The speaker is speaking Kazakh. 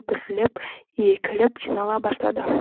бірлеп екілеп жинала бастады